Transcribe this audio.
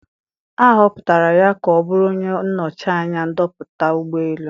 A họpụtara ya ka ọ bụrụ onye nnọchi anya ndoputa ụgbọ elu.